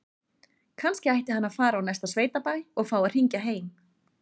Kannski ætti hann að fara á næsta sveitabæ og fá að hringja heim?